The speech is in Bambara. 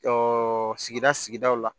sigida sigidaw la